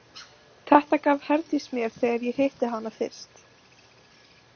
Þetta gaf Herdís mér þegar ég hitti hana fyrst.